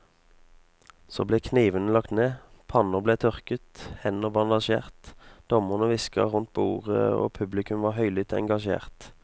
Så ble knivene lagt ned, panner ble tørket, hender bandasjert, dommerne hvisket rundt bordet og publikum var høylytt engasjert.